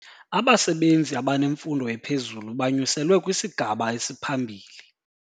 Abasebenzi abanemfundo ephezulu banyuselwe kwisigaba esiphambili.